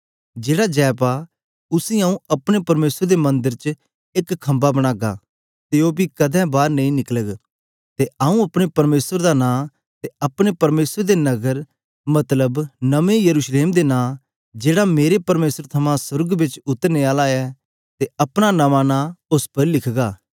जेड़ा जय पा उसी आऊँ अपने परमेसर दे मंदर च एक खम्बा बनागा ते ओ पी कदें बार नेई निकलग ते आऊँ अपने परमेसर दा नां ते अपने परमेसर दे नग्गर मतलब नमें यरूशलेम दे नां जेहड़ा मेरे परमेसर थमां सोर्ग बिचा उतरने आला ऐ ते अपना नमां नां उस्स उपर लिखगा